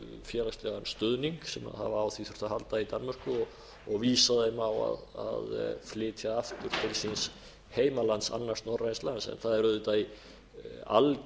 félagslegan stuðning sem hafa á því þurft að halda í danmörku og vísað þeim á að flytja aftur til síns heimalands annars norræna lands það er auðvitað í